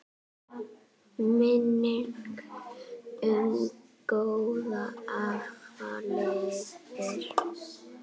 Minning um góðan afa lifir.